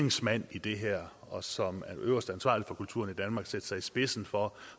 i det her og som øverste ansvarlige for kulturen i danmark sætte sig i spidsen for